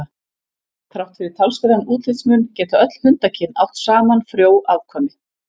Þrátt fyrir talsverðan útlitsmun geta öll hundakyn átt saman frjó afkvæmi.